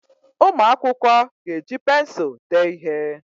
Ụmụ akwụkwọ ga-eji pensụl dee ihe.